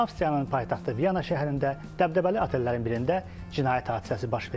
Avstriyanın paytaxtı Vyana şəhərində dəbdəbəli otellərin birində cinayət hadisəsi baş verir.